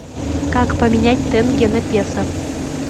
как поменять тенге на песо